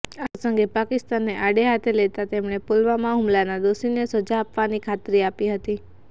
આ પ્રસંગે પાકિસ્તાનને આડે હાથે લેતા તેમણે પુલવામાં હુમલાના દોષીને સજા આપવાની ખાત્રી આપી હતી